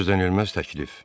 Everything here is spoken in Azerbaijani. Gözlənilməz təklif.